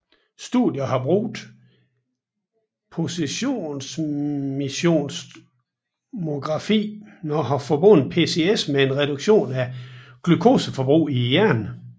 Studier der har brugt positronemissionstomografi har forbundet PCS med en reduktion af glukoseforbrug i hjernen